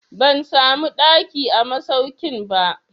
Ban samu ɗaki a masaukin ba.